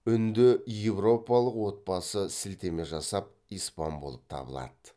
үнді еуропалық отбасы сілтеме жасап испан болып табылады